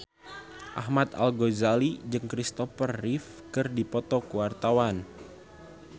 Ahmad Al-Ghazali jeung Christopher Reeve keur dipoto ku wartawan